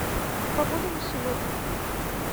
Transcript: погода на сегодня